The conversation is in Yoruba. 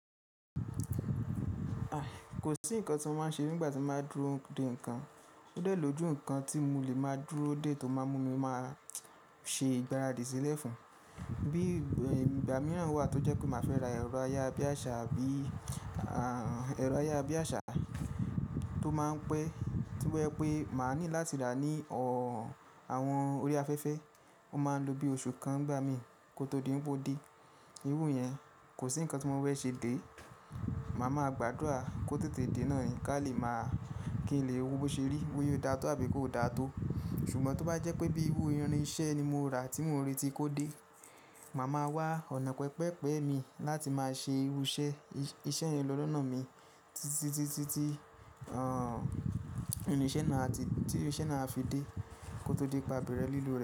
Ah. Kò sí nǹkan tí mo máa ṣe nígbà tí mo bá dúró de nǹkan. Ó dẹ̀ lójú nǹkan tí mo lè máa dúró de tó máa mú mi máa ṣe ìgbáradì sílẹ̀ fún. Bí ìgbà mìíràn wà tó jẹ́ pé màá fẹ́ ra ẹ̀rọ ayabíàṣá àbí ẹ̀rọ ayabíàṣá tó máa ń pẹ́, to je pé màá ní láti rà ní ọ̀ àwọn orí afẹ́fẹ́, ó máa ń lo bí oṣù kan nigbá mi kó tó di wipe ó dé. Irú iyẹn kò sí nǹkan tí mo fé ṣe dé. Màá ma gbàdúrà kó tètè dé náà ni ká lè máa kí n lè wo bó ṣe rí, bóya ò dá tó àbí kó ò dá tó. Ṣùgbọ́n tó bá jẹ́ pé bí irú irin iṣẹ́ ni mo rà tí mo rí tí kò dé, màá ma wá ọ̀nà pẹpẹ pẹ̀ mí láti máa ṣe irú iṣẹ́, iṣẹ́ yen lọ́ lọ́nà mi títí tí, tí, tí, tí, ọ̀, irin iṣẹ́ náà á fi dé kó tó di pe a bẹ̀rẹ̀ lílò rẹ̀